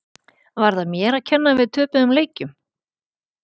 Var það mér að kenna að við töpuðum leikjum?